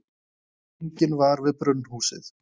Enginn var við brunnhúsið.